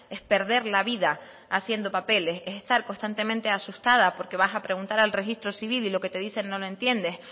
es perder la vida haciendo papeles es estar constantemente asustada porque vas a preguntar al registro civil y lo que te dicen no lo entiendes